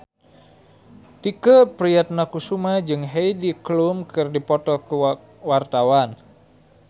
Tike Priatnakusuma jeung Heidi Klum keur dipoto ku wartawan